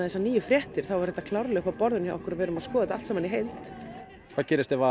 þessar nýju fréttir þá er þetta klárlega uppi á borðum hjá okkur og við erum að skoða þetta allt saman í heild hvað gerist ef